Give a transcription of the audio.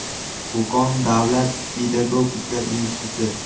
Qo‘qon davlat pedagogika instituti.